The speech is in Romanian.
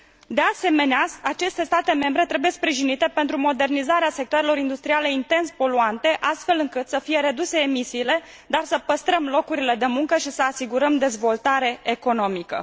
De asemenea, aceste state membre trebuie sprijinite pentru modernizarea sectoarelor industriale intens poluante, astfel încât să fie reduse emisiile, dar să păstrăm locurile de muncă și să asigurăm dezvoltarea economică.